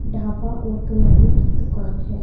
ढाबा और करियाने की दुकान है।